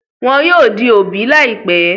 Wọn yóò di òbí láìpẹ́.